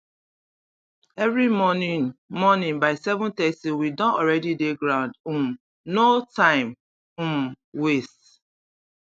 every morning morning by 730 we don already dey ground um no time um waste